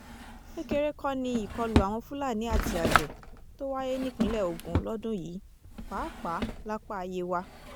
kékeré kọ́ ni ìkọlù àwọn fúlàní àti àgbẹ̀ tó wáyé nípìnlẹ̀ ogun lọ́dún yìí pàápàá lápá yewa